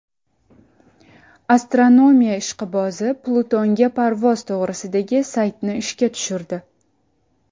Astronomiya ishqibozi Plutonga parvoz to‘g‘risidagi saytni ishga tushirdi.